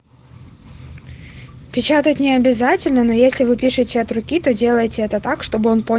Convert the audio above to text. печатать не обязательно но если вы пишете от руки то делайте это так что